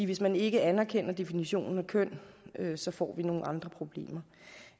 hvis man ikke anerkender definitionen af køn så får vi nogle andre problemer